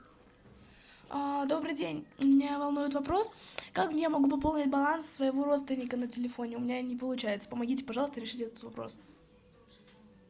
добрый день меня волнует вопрос как я могу пополнить баланс своего родственника на телефоне у меня не получается помогите пожалуйста решить этот вопрос